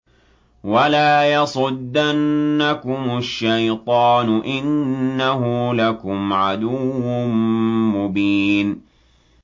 وَلَا يَصُدَّنَّكُمُ الشَّيْطَانُ ۖ إِنَّهُ لَكُمْ عَدُوٌّ مُّبِينٌ